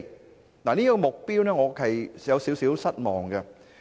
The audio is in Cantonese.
我對於這個目標是有點失望。